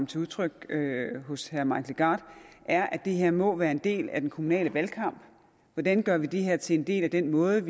til udtryk hos herre mike legarth er at det her må være en del af den kommunale valgkamp hvordan gør man det her til en del af den måde